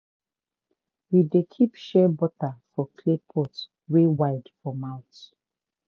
we dey keep shea butter for clay pot wey wide for mouth.